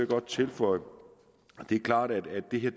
godt tilføje at det er klart at det her